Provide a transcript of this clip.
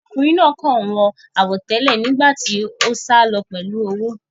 Ọkùnrin náà kàn wọ àwọ̀ tẹ́lẹ̀ nígbà tí ó sálọ pẹ̀lú owó